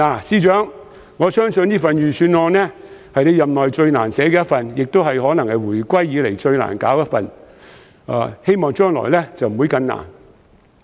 司長，我相信這份預算案是你任內最難寫的一份，亦可能是回歸以來最難寫的一份，希望將來不會更難。